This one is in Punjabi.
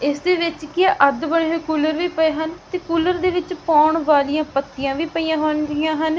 ਇਸ ਦੇ ਵਿੱਚ ਕੀ ਆ ਅੱਧ ਬਣੇ ਹੋਏ ਕੂਲਰ ਵੀ ਪਏ ਹਨ ਤੇ ਕੂਲਰ ਦੇ ਵਿੱਚ ਪੌਣ ਵਾਲਿਆਂ ਪੱਤਿਆਂ ਵੀ ਪਈਆਂ ਹੁੰਦੀਆ ਹਨ।